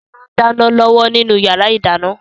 Sọlá ń dáná lọ́wọ́ nínú yàrá ìdáná